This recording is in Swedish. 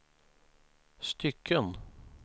stycken